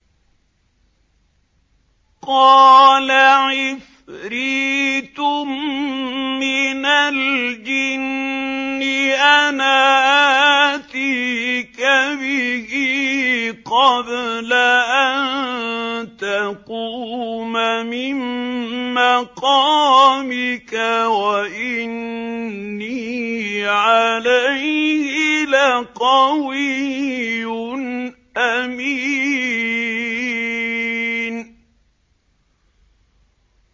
قَالَ عِفْرِيتٌ مِّنَ الْجِنِّ أَنَا آتِيكَ بِهِ قَبْلَ أَن تَقُومَ مِن مَّقَامِكَ ۖ وَإِنِّي عَلَيْهِ لَقَوِيٌّ أَمِينٌ